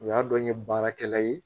U y'a dɔn n ye baarakɛla ye